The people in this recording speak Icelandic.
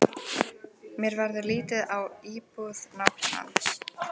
Mér verður litið á íbúð nágrannans.